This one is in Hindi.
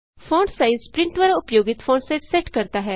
फोंटसाइज प्रिंट द्वारा उपयोगित फॉन्ट साइज सेट करता है